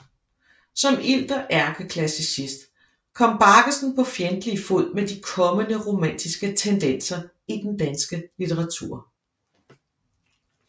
Som ilter ærkeklassicist kom Baggesen på fjendtlig fod med de kommende romantiske tendenser i den danske litteratur